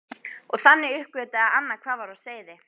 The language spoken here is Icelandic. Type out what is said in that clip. Og þannig uppgötvaði Anna hvað var á seyði.